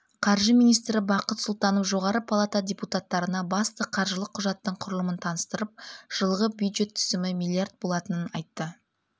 қаржы министрі бақыт сұлтанов жоғары палата депутаттарына басты қаржылық құжаттың құрылымын таныстырып жылғы бюджет түсімі миллиард болатынын айтты